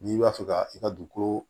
N'i b'a fɛ ka i ka dugukolo